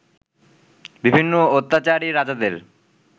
বিভিন্ন অত্যাচারী রাজাদের